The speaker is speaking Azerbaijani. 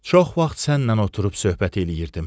Çox vaxt sənlə oturub söhbət eləyirdim.